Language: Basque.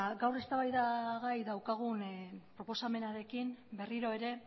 gaur eztabaidagai daukagun proposamenarekin berriro ere